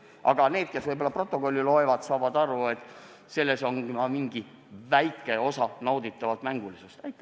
Aga need, kes stenogrammi loevad, saavad ehk aru, et selles on ka mingi väike osa nauditavat mängulisust.